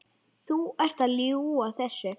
Þú ert að ljúga þessu!